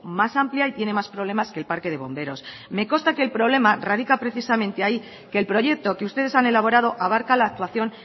más amplia y tiene más problemas que el parque de bomberos me consta que el problema radica precisamente ahí que el proyecto que ustedes han elaborado abarca la actuación